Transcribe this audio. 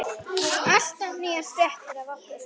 Alltaf nýjar fréttir af okkur.